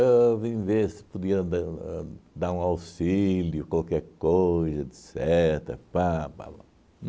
Eu vim ver se podia dar ãh dar um auxílio, qualquer coisa, etcetera, pá pá pá